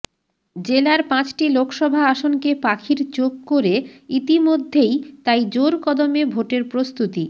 জেলার পাঁচটি লোকসভা আসনকে পাখির চোখ করে ইতিমধ্যেই তাই জোরকদমে ভোটের প্রস্তুতি